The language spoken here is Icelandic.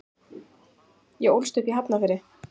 Ég ólst upp í Hafnarfirði.